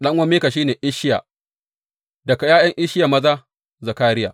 Ɗan’uwan Mika shi ne, Isshiya; daga ’ya’yan Isshiya maza, Zakariya.